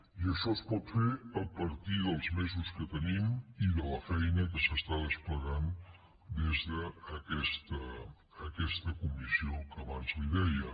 i això es pot fer a partir dels mesos que tenim i de la feina que s’està desplegant des de aquesta comissió que abans li deia